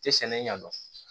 Tɛ sɛnɛ ɲɛdɔn